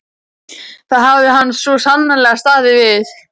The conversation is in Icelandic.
Það hafði hann svo sannarlega staðið við.